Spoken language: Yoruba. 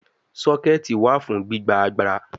Soketi wa fun gbigba agbara